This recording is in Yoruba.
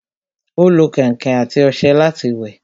Ó lo kẹ̀ǹkẹ̀ àti ọṣẹ láti wẹ̀